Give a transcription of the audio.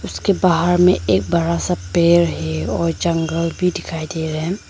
उसके बाहर में एक बड़ा सा पेड़ है और जंगल भी दिखाई दे रहा है।